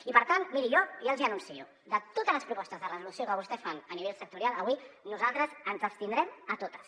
i per tant miri jo ja els hi anuncio de totes les propostes de resolució que vostès fan a nivell sectorial avui nosaltres ens abstindrem a totes